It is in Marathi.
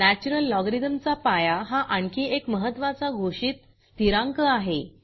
नॅचरल लॉगॅरिथमचा पाया हा आणखी एक महत्त्वाचा घोषित स्थिरांक आहे